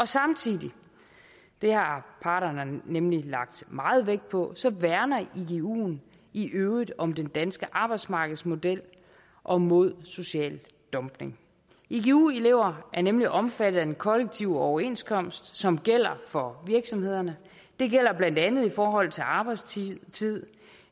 samtidig det har parterne nemlig lagt meget vægt på værner iguen i øvrigt om den danske arbejdsmarkedsmodel og mod social dumping igu elever er nemlig omfattet af den kollektive overenskomst som gælder for virksomhederne det gælder blandt andet i forhold til arbejdstid